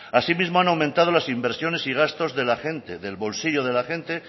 asimismo han aumentado las inversiones y gastos de la gente del bolsillo de la gente